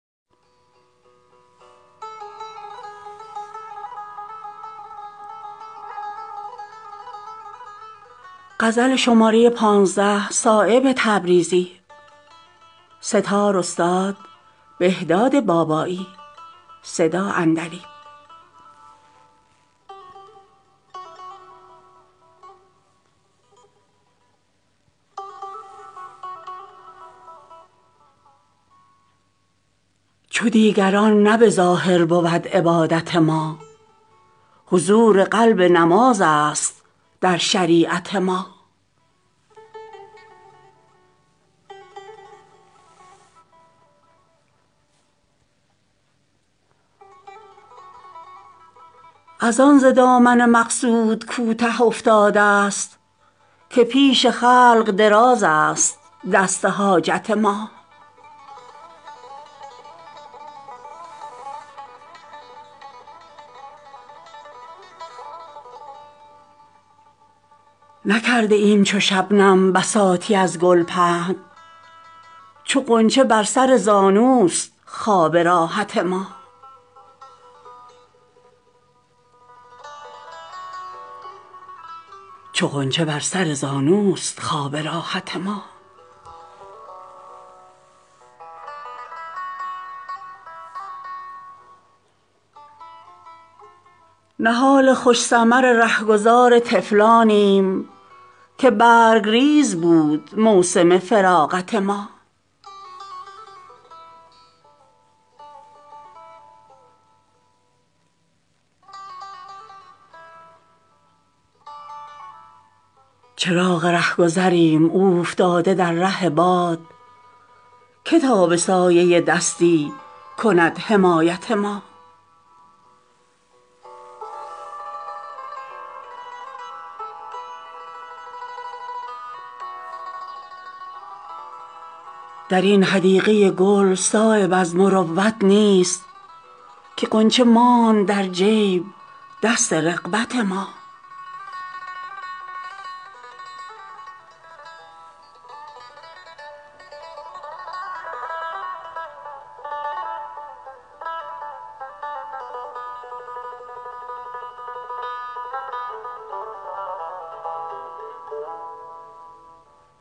چو دیگران نه به ظاهر بود عبادت ما حضور قلب نمازست در شریعت ما ازان ز دامن مقصود کوته افتاده است که پیش خلق درازست دست حاجت ما نکرده ایم چو شبنم بساطی از گل پهن چو غنچه بر سر زانوست خواب راحت ما چو عنکبوت مگس را نمی کنیم قدید هماشکار بود جذبه قناعت ما نهال خوش ثمر رهگذار طفلانیم که برگریز بود موسم فراغت ما اگر در آتش سوزان هزار غوطه خورد صدا بلند نسازد سپند غیرت ما تلاش گوشه عزلت ز تنگ خلقی هاست وگرنه بهر خدا نیست کنج عزلت ما که سرو قد ترا راه می تواند زد ز جلوه تو شود نقد اگر قیامت ما چراغ رهگذریم اوفتاده در ره باد که تا به سایه دستی کند حمایت ما ازان به دامن صحرا شکسته ایم قدم که عالمی شود آسوده از ملامت ما درین حدیقه گل صایب از مروت نیست که غنچه ماند در جیب دست رغبت ما